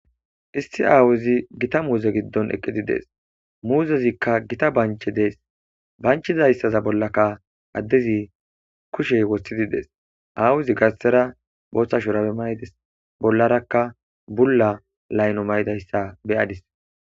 isti aawuzi gita muuze giddon eqqidi dees muuzezikka gita banche dees banchizayssaza bollakka addezi kushey wothidi dees aawuzi garsera booththa shurabe mayides bollarakka bulla layno mayidayssa be7adis.